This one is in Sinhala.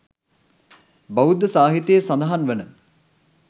බෞද්ධ සාහිත්‍යයෙහි සඳහන් වන